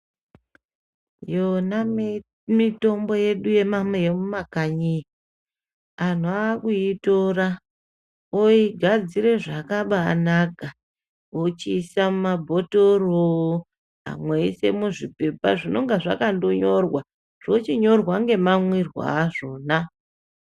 Iyona mitombo yedu yemumakanyi iyi anhu akuyitora oigadzira zvakabanaka ochiisa mumabhotoro amwe eisa muzvipepa zvinonga zvakandonyorwa zvochinyorwa ngemamwirwa azvona .